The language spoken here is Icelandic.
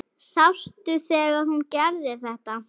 Sástu þegar hún gerði þetta?